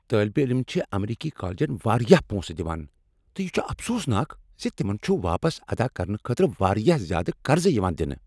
طٲلب علم چھ امریکی کالجن واریاہ پونٛسہٕ دوان تہٕ یہ چھ افسوس ناک ز تمن چھ واپس ادا کرنہٕ خٲطرٕ واریاہ زیادٕ قرضہٕ یوان دنہٕ۔